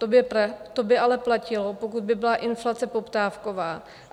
To by ale platilo, pokud by byla inflace poptávková.